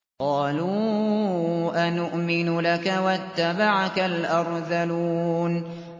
۞ قَالُوا أَنُؤْمِنُ لَكَ وَاتَّبَعَكَ الْأَرْذَلُونَ